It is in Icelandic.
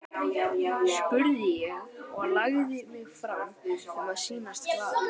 spurði ég og lagði mig fram um að sýnast glaður.